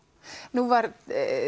nú var